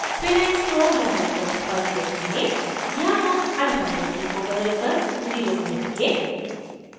fill and stroke dialog box पर click करें यहाँ come alpha value को बदलकर 0 करेंगे